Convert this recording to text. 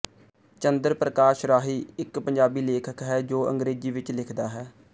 ਚੰਦਰ ਪਰਕਾਸ਼ ਰਾਹੀ ਇੱਕ ਪੰਜਾਬੀ ਲੇਖਕ ਹੈ ਜੋ ਅੰਗਰੇਜ਼ੀ ਵਿੱਚ ਲਿਖਦਾ ਹੈ